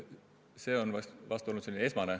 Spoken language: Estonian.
See on olnud prioriteet.